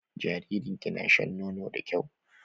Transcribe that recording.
Jaririn ki na shan nono da kyau?